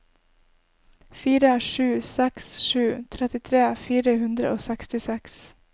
fire sju seks sju trettitre fire hundre og sekstiseks